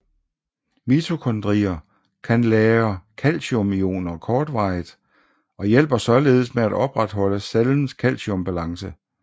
Mitokondrier kan lagre calciumioner kortvarigt og hjælper således med at opretholde cellens calciumbalance